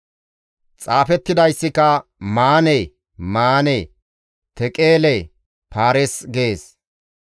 «Xaafettidayssika, ‹Manee! Manee! Teqeele! Faaris› gees.